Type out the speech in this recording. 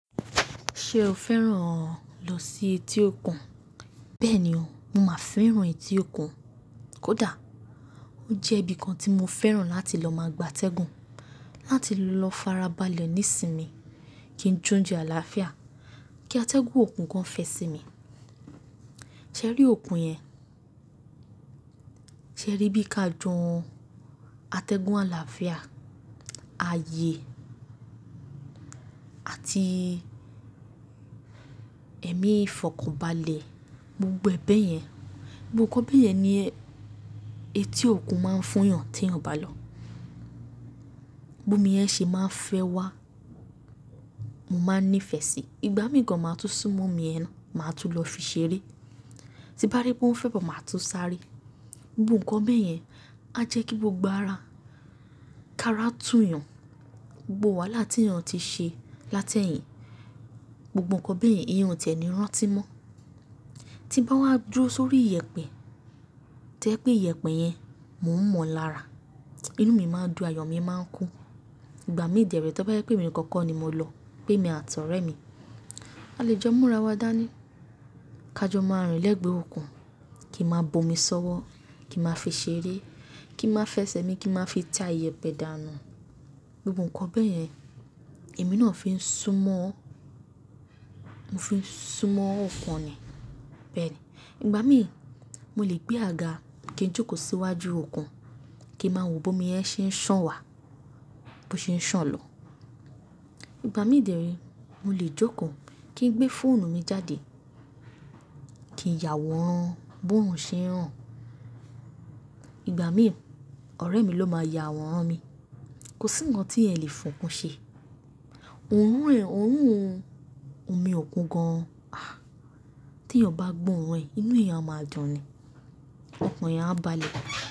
Ṣé o fẹ́ràn lọ sí etí òkun? Bẹ́ẹ̀ ni o, mo máa fẹ́ràn etí òkun kódà. Ó jẹ́ ibi kan tí mo fẹ́ràn láti lọ máa gbátẹ́gùn. Láti lọ farabalẹ̀ nísinmi kí n jóunjẹ àlàáfíà, kí atẹ́gùn òkun gan fẹ sí mi. Ṣé rí òkun yẹn? Ṣé o rí bí ka jon atẹ́gùn àlàáfíà, ààyè àti ẹ̀mí ìfọ̀kànbalẹ̀ gbogbo bẹ́ yẹn? Gbogbo nǹkan bẹ́ẹ̀ yẹn ni etí òkun máa ń fún yàn tí èèyàn bá lọ. Bómi yẹn ṣe máa ń fẹ́ wá, mo máa ń nífẹ̀ẹ́ sí i. Ìgbà mìíràn gan máa tú súnmọ́ omi yẹn náà, máa tu lọ fi ṣeré. Tí n bá rí pé ó ń fẹ̀bo máa tu sáré. Gbogbo nǹkan bẹ́yẹn á jẹ́ kí gbogbo ara ká rátù yàn. Gbogbo wàhálà tí ènìyàn ti ṣe látẹ̀yìn, gbogbo nǹkan bẹ́yẹn èèyàn ò ti ẹ ní rántí mọ́. Tí bá wá dúró sórí iyẹ̀pẹ̀, tó jẹ́ pé iyẹ̀pẹ̀ yẹn mò ń mọ̀ lára, inú mi máa dùn, àyò mí máa ń kún. Ìgbà mí dérè tí ó bá jẹ́ pé èmi nìkan kọ́ ni mo lọ, pé èmi àti ọ̀rẹ́ mi. A lè jọ múra wa dání, ká jọ máa rìn lẹ́gbẹ̀ẹ́ òkun kí a máa bomi sọ́wọ́, kí a máa fi ṣeré, kí n máa fẹsẹ̀ mi, kí a máa fi ta iyẹ̀pẹ̀ dànù. Gbogbo nǹkan bẹ́yẹn èmi náà fi ń súnmọ́, mo fi ń súnmọ́ òkun ni. Bẹ́ẹ̀ ni. Ìgbà mí, mo lè gbé àga kí n jókòó síwájú òkun, kí n máa wo bómi yẹn ṣe ń sàn wá, bó ṣe ń sàn lọ. Ìgbà mí dérè mo lè jókòó kí n gbé fóònù mi jáde, kí n yàwòrán bórun ṣe ń ràn. Ìgbà mí, ọ̀rẹ́ mi ló máa yàwòrán mi. Kò sí nǹkan tí ẹ́ lè fokún ṣe. Òórùn ẹ̀, oòrùn omi òkun gan-an. Ah! Tí ènìyàn bá gbó òórùn ẹ̀, inú èèyàn máa dùn ní, ọkàn èèyàn á balẹ̀.